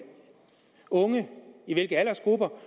unge hvilke aldersgrupper